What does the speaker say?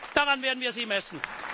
EU! Daran werden wir Sie messen.